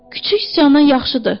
Kiçik siçandan yaxşıdır.